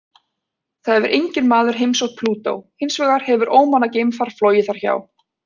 Það hefur enginn maður heimsótt Plútó, hins vegar hefur ómannað geimfar flogið þar hjá.